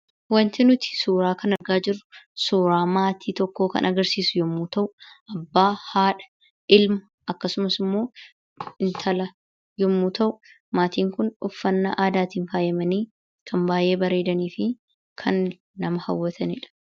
Waanti nuti suuraa kana irraa argaa jirru, suuraa maatii tokkoo kan agarsiisu yemmuu ta'u, abbaa, haadha, ilma kkasumas intala yemmuu ta'u maatiin Kun uffannaa aadaatiin faayamanii kan baayyee bareedanii fi, kan nama hawwatanidha.